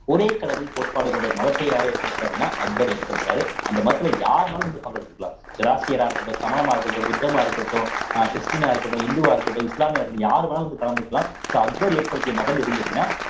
ஒரே கடவுள் கோட்பாடு கொண்ட ஒரு மதத்தை யாரு ஏற்படுத்துறா அப்படின்னா அக்பர் ஏற்படுத்துறாரு அந்த மதத்திலே யார்னாலும் வந்து பங்கெடுத்துக்கலாம் ஸொராஸ்ட்ரியரா இருக்கட்டும் சமணமா இருக்கட்டும் புத்தமா இருக்கட்டும் அஹ் கிறிஸ்டியனா இருக்கட்டும் இந்துவா இருக்கட்டும் இஸ்லாமியானா இருக்கட்டும் யாரு வேணாலும் வந்து கலந்துக்கலாம் so அக்பர் ஏற்படுத்திய மதம் எதுன்னு கேட்டீங்கன்னா